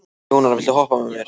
Jónar, viltu hoppa með mér?